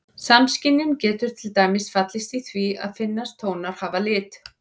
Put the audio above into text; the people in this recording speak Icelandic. Samskynjun getur til dæmis falist í því að finnast tónar hafa lit.